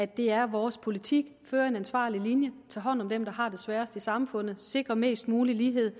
det er vores politik at føre en ansvarlig linje tage hånd om dem der har det sværest i samfundet sikre mest mulig lighed